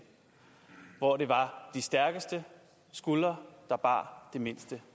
hvor det var de stærkeste skuldre der bar det mindste